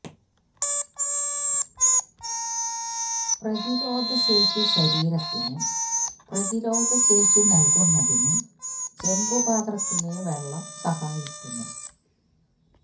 പ്രതിരോധ ശേഷി ശരീരത്തിന് പ്രതിരോധ ശേഷി നല്കുന്നതിന് ചെമ്പ് പാത്രത്തിലെ വെള്ളം സഹായിക്കുന്നു